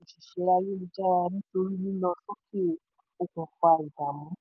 báńkì pàdánù òṣìṣẹ́ ayélujára nítorí lílọ sókè òkun fa ìdààmú.